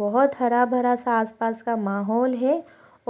बहुत हरा भरा सा आस पास का माहौल है